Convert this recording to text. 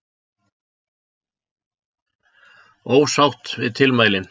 Ósátt við tilmælin